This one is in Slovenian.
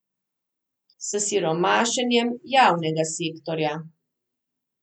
S siromašenjem javnega sektorja.